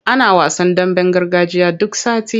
Ana wasan damben gargajiya duk sati.